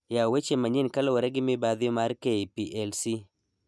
Yaw weche manyien kaluwore gi mibadhi ma k.p.l.c